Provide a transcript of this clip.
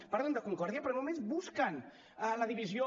parlen de concòrdia però només busquen la divisió